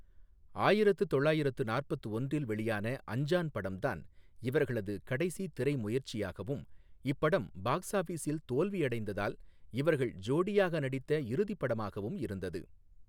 ஆயிரத்து தொள்ளயிரத்து நாற்பத்து ஒன்றில் வெளியான அஞ்சான் படம் தான் இவர்களது கடைசி திரை முயற்சியாகவும், இப்படம் பாக்ஸ் ஆஃபிஸில் தோல்வியடைந்ததால் இவர்கள் ஜோடியாக நடித்த இறுதி படமாகவும் இருந்தது.